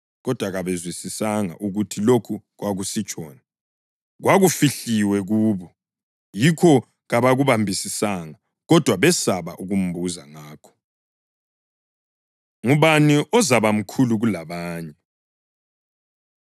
Kodwa kabezwisisanga ukuthi lokhu kwakusitshoni. Kwakufihliwe kubo, yikho kabakubambisisanga, kodwa besaba ukumbuza ngakho. Ngubani Ozabamkhulu Kulabanye?